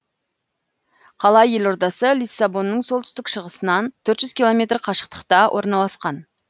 қала елордасы лиссабонның солтүстік шығысынан төрт жүз километр қашықтықта орналасқан